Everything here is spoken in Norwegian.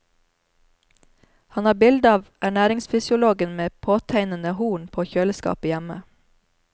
Han har bilde av ernæringsfysiologen med påtegnede horn på kjøleskapet hjemme.